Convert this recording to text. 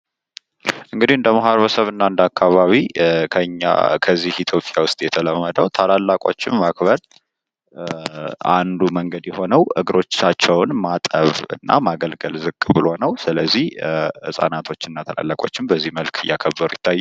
እንግዲህ እንደ ማህበረሰብ እና እንዳአካባቢ ከዚህ ኢትዮጵያ ውስጥ የተለወጠው ታላላቆችን ማክበር አንዱ መንገድ የሆነው እግሮቻቸውን ማጠብ እና ማገልገል ነው ዝቅ ብሎ ስለዚህ ህጻናቶች እና ታላላቆችም በዚህ መልኩ እያከበሩ ይታዩኛል።